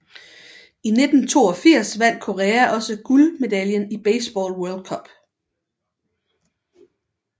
I 1982 vandt Korea også guldmedaljen i Baseball World Cup